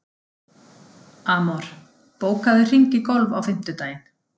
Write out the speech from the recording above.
Amor, bókaðu hring í golf á fimmtudaginn.